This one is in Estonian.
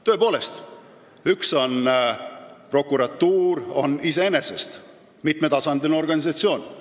Tõepoolest, prokuratuur on iseenesest mitmetasandiline organisatsioon.